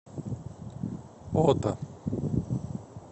ота